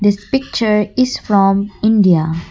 this picture is from India.